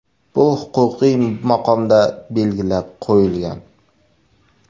Bu huquqiy maqomda belgilab qo‘yilgan.